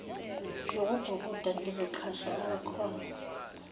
zokubhukuda ngizoqhasha okwakhona